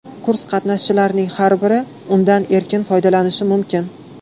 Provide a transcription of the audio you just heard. Kurs qatnashchilarining har biri undan erkin foydalanishi mumkin.